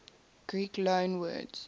greek loanwords